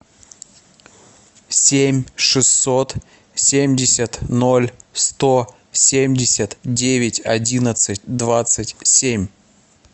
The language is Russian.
семь шестьсот семьдесят ноль сто семьдесят девять одиннадцать двадцать семь